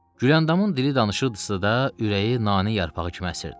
Güləndamın dili danışırdısa da, ürəyi nanə yarpağı kimi əsirdi.